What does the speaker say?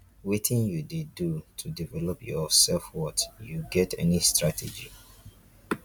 wetin you dey do to develop your self-worth you get any strategy?